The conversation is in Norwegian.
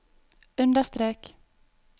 understrek